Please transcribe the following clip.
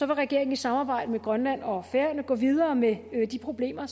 vil regeringen i samarbejde med grønland og færøerne gå videre med de problemer